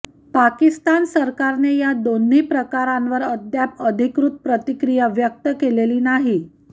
पाकिस्तान सरकारने या दोन्ही प्रकारांवर अद्याप अधिकृत प्रतिक्रिया व्यक्त केलेली नाही